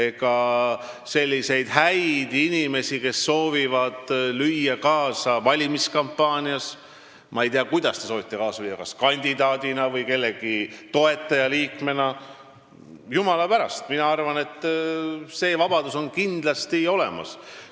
Kui on selliseid häid inimesi, kes soovivad lüüa kaasa valimiskampaanias – ma ei tea, kuidas te soovite kaasa lüüa, kas kandidaadina või kellegi toetajaliikmena –, siis jumala pärast, mina arvan, et see vabadus on kindlasti olemas.